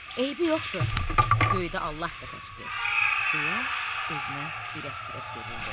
Eybi yoxdur, göydə Allah da təkdir deyə özünə ürək-dirək verirdi.